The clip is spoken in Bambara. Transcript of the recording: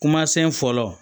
Kumasen fɔlɔ